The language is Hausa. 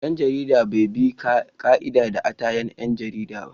Dan jaridar bai bi ka'idar da'a ta 'yan jarida ba.